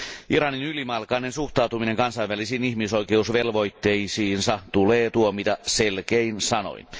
Iranin ylimalkainen suhtautuminen kansainvälisiin ihmisoikeusvelvoitteisiinsa tulee tuomita selkein sanoin.